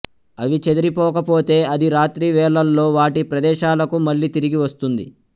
అవి చెదిరిపోకపోతే అది రాత్రి వేళ్లల్లో వాటి ప్రదేశాలకు మళ్ళి తిరిగి వస్తుంది